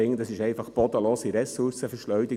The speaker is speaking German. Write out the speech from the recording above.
Das ist eine bodenlose Ressourcenverschleuderung.